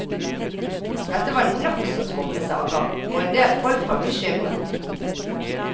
Dette var nokså skumle saker, og endel folk var bekymret.